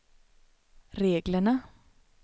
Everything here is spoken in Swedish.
reglerna